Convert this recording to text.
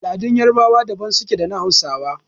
Al'adun yarbawa daban suke da na hausawa.